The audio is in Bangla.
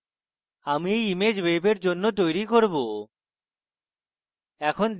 আমি এই image ওয়েবের জন্য তৈরী করব